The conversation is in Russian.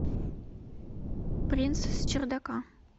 принц с чердака